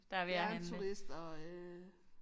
Det er en turist og øh